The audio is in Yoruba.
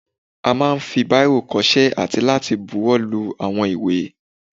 A máà ń fi báìrò kọṣẹ́ àti láti buwọ́lu àwọn ìwé.